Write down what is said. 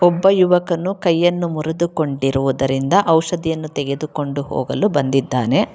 ಒಬ್ಬ ಯುವಕನು ಕೈಯನ್ನು ಮುರಿದುಕೊಂಡಿರುವುದರಿಂದ ಔಷಧಿಯನ್ನು ತೆಗೆದುಕೊಂಡು ಹೋಗಲು ಬಂದಿದ್ದಾನೆ.